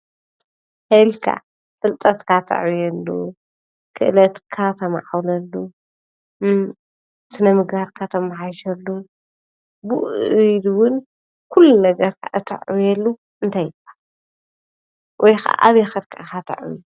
ፍልጠትካ ተዕብየሉ ክእለትካ ተማዕብለሉ እም ስነ ምግባርካ ተማሕይሸሉ ብኡኡ ኢሉ እውን ኩሉ ነገርካ እተዕብየሉ እንታይ ይብሃል ? ወይ ኸዓ ኣበይ ኸይድካ ኢኻ ተዕብዮ?